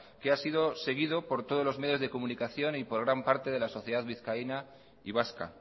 que ha sido seguido por todos los medios de comunicación y por gran parte de la sociedad vizcaína y vasca